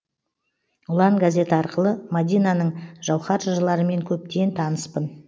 ұлан газеті арқылы мадинаның жауһар жырларымен көптен таныспын